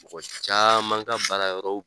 Mɔgɔ caman ka baara yɔrɔw